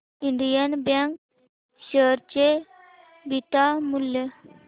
Indian bank share चे beta मूल्य